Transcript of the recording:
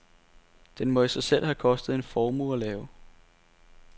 Den må i sig selv have kostet en formue at lave.